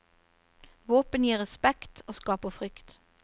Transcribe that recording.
Våpen gir respekt, og skaper frykt.